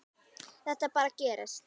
Þetta bara gerist.